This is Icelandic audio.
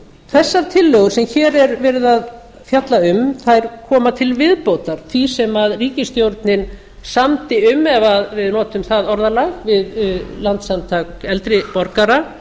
þessar tillögur sem hér er verið að fjalla um koma til viðbótar því sem ríkisstjórnin samdi um ef við notum það orðalag við landssamtök eldri borgara